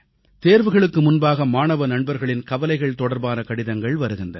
தேர்வுகளுக்கு முன்பாக மாணவ நண்பர்களின் கவலைகள் தொடர்பான கடிதங்கள் வருகின்றன